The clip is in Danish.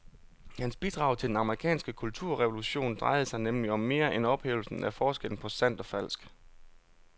Hans bidrag til den amerikanske kulturrevolution drejede sig nemlig om mere end ophævelsen af forskellen på sandt og falsk.